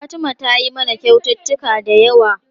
Fatima tayi mana kyaututtuka da yawa.